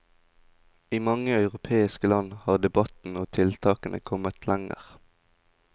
I mange europeiske land har debatten og tiltakene kommet lenger.